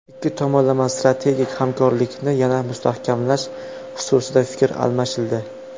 Ikki tomonlama strategik hamkorlikni yanada mustahkamlash xususida fikr almashildi.